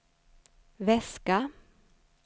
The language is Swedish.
väska